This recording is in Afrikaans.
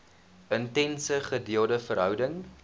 intense gedeelde verhouding